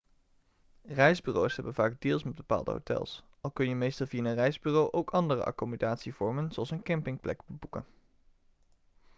reisbureaus hebben vaak deals met bepaalde hotels al kun je meestal via een reisbureau ook andere accommodatievormen zoals een campingplek boeken